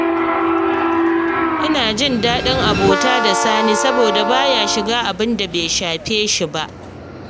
Ina jin daɗin abota da Sani, Saboda ba ya shiga abin da bai shafe shi ba